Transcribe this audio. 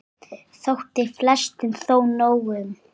Þótti flestum þó nóg um.